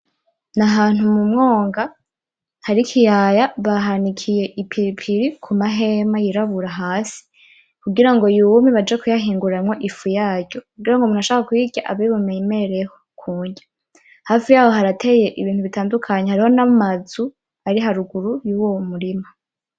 N’ahantu mu mwonga hari ikiyaya bahanikiye ipiripiri kumahema yirabura hasi kugirango yumpe baje kuyahinguramo ifu yaryo kugirango umuntu ashaka kuyirya ari buyi buyimemereho kurya. Hafi yaho harateye ibintu bitandukanye hariho n’amazu ari haruguru yuwo murima.